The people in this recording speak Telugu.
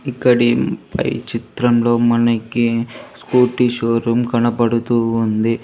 ఇక్కడి పై చిత్రంలో మనకి స్కూటీ షోరూం కనబడుతూ ఉంది.